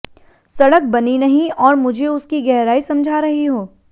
सड़क बनी नहीं और मुझे उसकी गहराई समझा रही हो